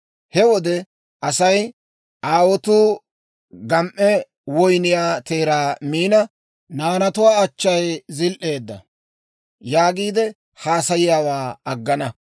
«He wode asay, ‹Aawotuu gam"e woyniyaa teeraa miina, naanatuwaa achchay zil"eedda› yaagiide haasayiyaawaa aggana.